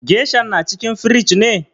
Geshan na cikin firij ne?